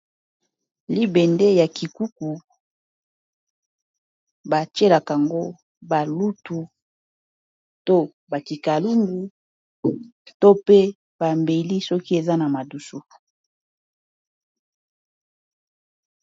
libende ya kikuku batielaka ango balutu to bakikalundu to pe bambeli soki eza na madusu